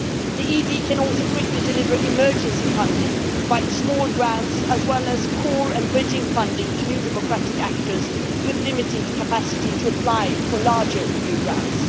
The EED can also quickly deliver emergency funding and provide small grants as well as core and bridging funding to new democratic actors with limited capacity to apply for larger EU grants.